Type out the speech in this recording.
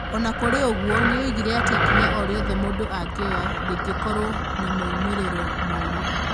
O na kũrĩ ũguo, nĩ oigire atĩ ikinya o rĩothe mũndũ angĩoya rĩngĩkorũo na moimĩrĩro moru.